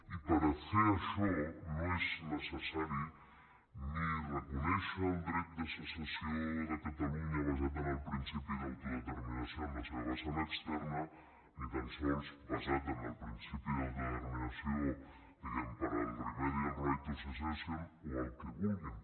i per a fer això no és necessari ni reconèixer el dret de secessió de catalunya basat en el principi d’autodeter·minació en la seva vessant externa ni tan sols basat en el principi d’autodeterminació diguem·ne per al remedial right of secession o el que vulguin